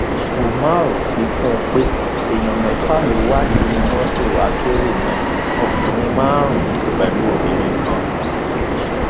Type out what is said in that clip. umar fi kún un pé èèyàn mẹfà ló wà nínú mọtò akérò náà ọkùnrin márùnún pẹlú obìnrin kan